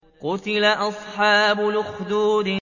قُتِلَ أَصْحَابُ الْأُخْدُودِ